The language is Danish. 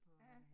Ja